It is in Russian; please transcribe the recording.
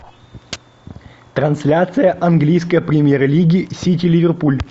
трансляция английской премьер лиги сити ливерпуль